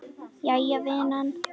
Jæja vinan.